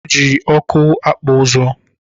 Eji ọkụ akpụ ụzụ